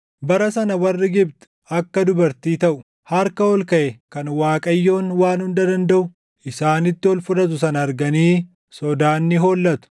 Bara sana warri Gibxi akka dubartii taʼu. Harka ol kaʼe kan Waaqayyoon Waan Hunda Dandaʼu isaanitti ol fudhatu sana arganii sodaan ni hollatu.